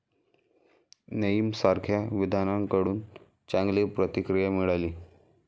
नेईम सारख्या विद्वानांकडून चांगली प्रतिक्रिया मिळाली.